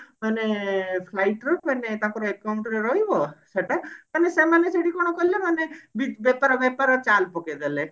ମାନେ flight ରୁ ମାନେ ତାଙ୍କର account ରେ ରହିବ ସେଟା ମାନେ ସେମାନେ ସେଇଠି କଣ କଲେ ନା ବେପାର ବେପାର ଚାଲ ପକେଇ ଦେଲେ